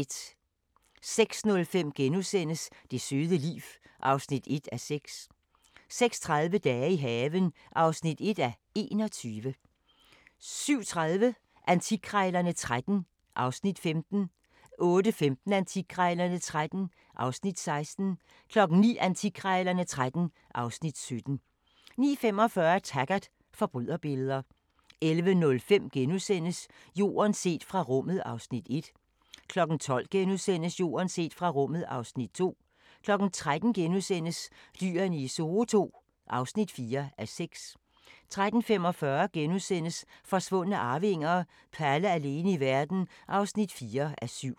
06:05: Det søde liv (1:6)* 06:30: Dage i haven (1:21) 07:30: Antikkrejlerne XIII (Afs. 15) 08:15: Antikkrejlerne XIII (Afs. 16) 09:00: Antikkrejlerne XIII (Afs. 17) 09:45: Taggart: Forbryderbilleder 11:05: Jorden set fra rummet (Afs. 1)* 12:00: Jorden set fra rummet (Afs. 2)* 13:00: Dyrene i Zoo II (4:6)* 13:45: Forsvundne arvinger: Palle alene i verden (4:7)*